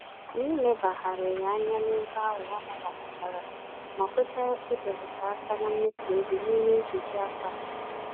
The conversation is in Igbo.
Anyị lebagharịrị anya n'ego ahụ amawapụtara ma kweta ibelata àkà na mmefu égo n'ime nkeji afọ a.